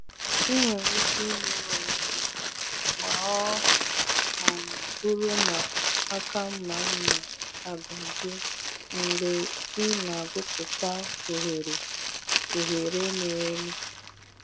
Ị nwere ike merụ onwe gị ma ọ um bụrụ na aka mma mma agbajie mgbe ị na-agwupụta oghere oghere miri emi.